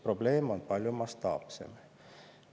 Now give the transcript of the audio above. Probleem on palju mastaapsem.